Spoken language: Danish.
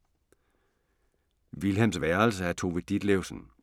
Vilhelms værelse af Tove Ditlevsen